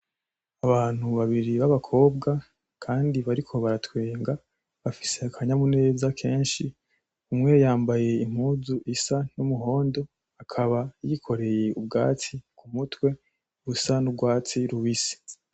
Abantu babiri b'abakobwa kandi bariko baratwenga, bafise akanyamuneza kenshi. Umwe yambaye impuzu isa n'umuhondo akaba yikoreye ubwatsi ku mutwe busa n'urwatsi rubisi.